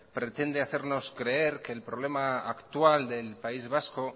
pretende hacernos creer que el problema actual del país vasco